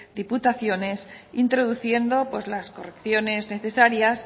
diputaciones introduciendo las correcciones necesarias